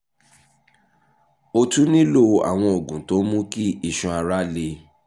o tún nílò àwọn oògùn tó ń mú kí iṣan ara le